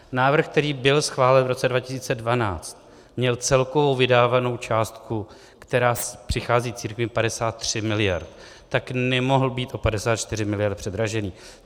Návrh, který byl schválen v roce 2012, měl celkovou vydávanou částku, která přichází církvi, 53 miliard, tak nemohl být o 54 miliard předražený.